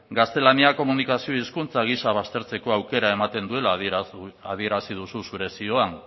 gaztelania komunikazio hizkuntza gisa baztertzeko aukera ematen duela adierazi duzu zure zioan